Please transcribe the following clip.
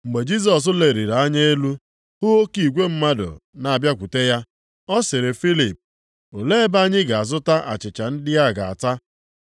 Mgbe Jisọs leliri anya elu hụ oke igwe mmadụ na-abịakwute ya, ọ sịrị Filip, “Olee ebe anyị ga-azụta achịcha ndị a ga-ata?”